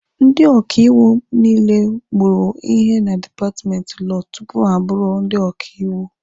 Ndị ọkaiwu niile mụrụ ihe na dipatmenti lọọ tupu ha abụrụ ndị ọkaiwu